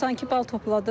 92 bal topladım.